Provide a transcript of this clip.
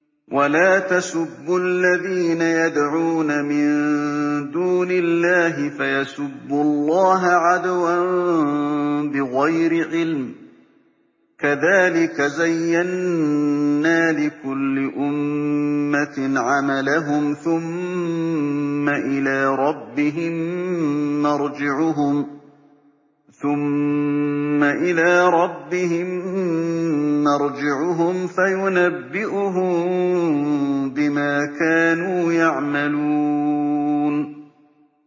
وَلَا تَسُبُّوا الَّذِينَ يَدْعُونَ مِن دُونِ اللَّهِ فَيَسُبُّوا اللَّهَ عَدْوًا بِغَيْرِ عِلْمٍ ۗ كَذَٰلِكَ زَيَّنَّا لِكُلِّ أُمَّةٍ عَمَلَهُمْ ثُمَّ إِلَىٰ رَبِّهِم مَّرْجِعُهُمْ فَيُنَبِّئُهُم بِمَا كَانُوا يَعْمَلُونَ